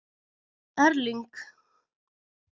Erling